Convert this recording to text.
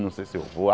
Não sei se eu vou.